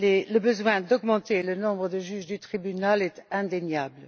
Le besoin d'augmenter le nombre des juges du tribunal est indéniable.